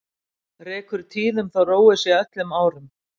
Rekur tíðum þó róið sé öllum árum.